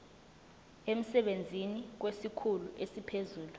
emsebenzini kwesikhulu esiphezulu